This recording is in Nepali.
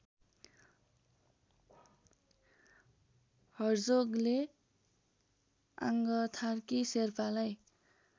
हर्जोगले आङ्गथार्की शेर्पालाई